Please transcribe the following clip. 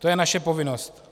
To je naše povinnost.